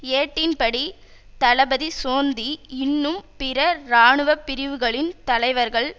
ஏட்டின் படி தளபதி சோந்தி இன்னும் பிற இராணுவ பிரிவுகளின் தலைவர்கள்